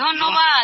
ধন্যবাদ